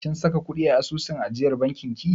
Kin saka ƙuɗi a asusun ajiyar bankin ki?